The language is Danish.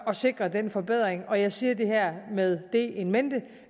at sikre den forbedring og jeg siger det her med det in mente